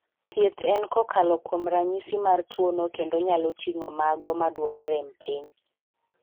Thieth en kokalo kuom ranyisi mar tuono kendo nyalo ting'o mago maduoko rem piny.